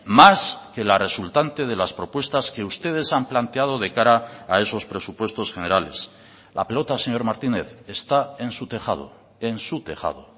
más que la resultante de las propuestas que ustedes han planteado de cara a esos presupuestos generales la pelota señor martínez está en su tejado en su tejado